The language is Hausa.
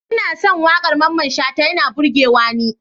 Ina son wakar Mamman shata yana burgewa ni.